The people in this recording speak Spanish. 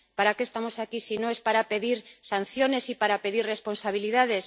¿Para qué estamos aquí, si no es para pedir sanciones y para pedir responsabilidades?